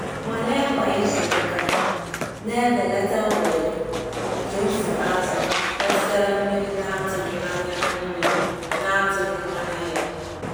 Nnwale kwa izuụka na-ebelata ohere nke mfu azụ̀ metụtara mmiri na-atụghị anya mmiri na-atụghị anya ya.